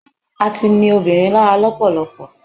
a ti ni obirin lára lọpọlọpọ